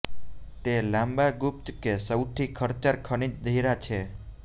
તે લાંબા ગુપ્ત કે સૌથી ખર્ચાળ ખનિજ હીરા છે